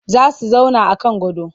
Za su zauna a kan gado